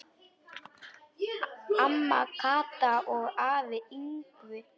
Amma Kata og afi Yngvi.